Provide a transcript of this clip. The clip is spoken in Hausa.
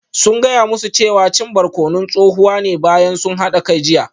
Sun gaya musu cewa cin barkonon tsohuwa ne bayan sun hada kai jiya